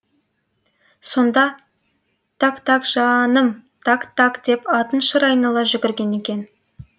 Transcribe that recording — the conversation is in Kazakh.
сонда так так жа ным так так деп атын шыр айнала жүгірген екен